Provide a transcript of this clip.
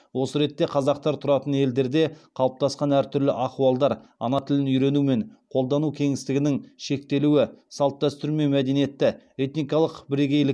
осы ретте қазақтар тұратын елдерде қалыптасқан әртүрлі ахуалдар ана тілін үйрену мен қолдану кеңістігінің шектелуі салт дәстүр мен мәдениетті этникалық бірегейлік